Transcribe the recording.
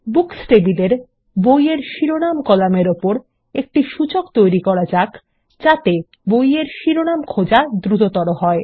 books টেবিলের বইয়ের শিরোনাম কলামের উপর একটি সূচক তৈরি করা যাক যাতে বইয়ের শিরোনাম খোঁজার গতি দ্রুততর হয়